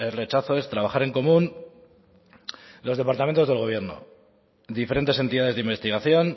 rechazo es trabajar en común los departamentos del gobierno diferentes entidades de investigación